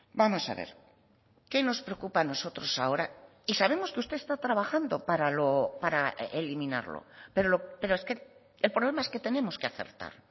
vamos a ver qué nos preocupa a nosotros ahora y sabemos que usted está trabajando para eliminarlo pero es que el problema es que tenemos que acertar